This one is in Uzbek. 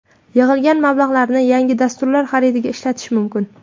Yig‘ilgan mablag‘larni yangi dasturlar xaridiga ishlatish mumkin.